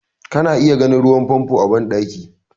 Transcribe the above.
Kana iya ganin ruwan famfo a bandaki.